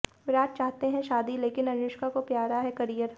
विराट चाहते हैं शादी लेकिन अनुष्का को प्यारा करियर